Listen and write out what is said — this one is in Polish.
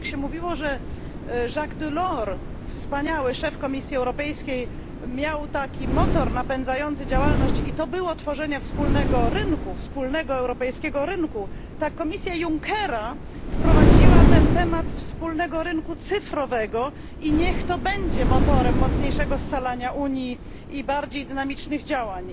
Jak się mówiło, że Jacques Delors wspaniały szef Komisji Europejskiej miał motor napędzający działalność, którym było tworzenie wspólnego europejskiego rynku, tak Komisja Junckera wprowadziła temat wspólnego rynku cyfrowego i niech to będzie motorem mocniejszego scalania Unii i bardziej dynamicznych działań.